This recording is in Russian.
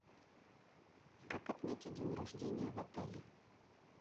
как отметить день рождения в отеле